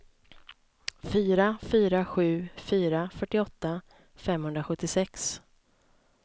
fyra fyra sju fyra fyrtioåtta femhundrasjuttiosex